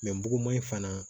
muguman in fana